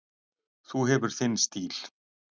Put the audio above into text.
Þú hefur þinn stíl.